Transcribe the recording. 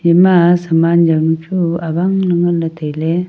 ema saman jaonu chu awang le ngan le taile.